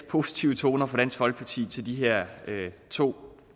positive toner fra dansk folkeparti til de her to